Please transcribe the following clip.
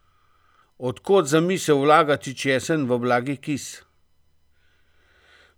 Od kod zamisel vlagati česen v blagi kis?